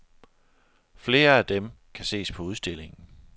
Flere af dem kan ses på udstillingen.